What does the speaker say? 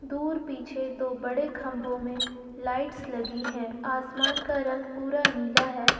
दूर पीछे दो बड़े खंभों में लाइट्स लगी है आसमान का रंग पूरा नीला है।